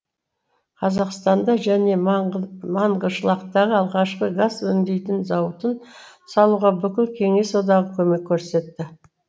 қазақстанда және манғышлақтағы алғашқы газ өндейтін зауытын салуға бүкіл кеңес одағы көмек көрсетті